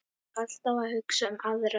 Alltaf að hugsa um aðra.